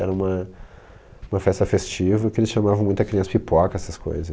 Era uma festa festiva que eles chamavam muita criança pipoca, essas coisas.